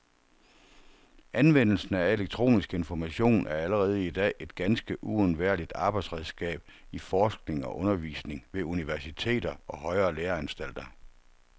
Anvendelsen af elektronisk information er allerede i dag et ganske uundværligt arbejdsredskab i forskning og undervisning ved universiteter og højere læreanstalter.